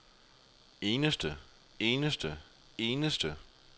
eneste eneste eneste